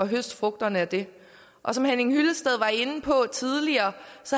høste frugterne af den og som henning hyllested var inde på tidligere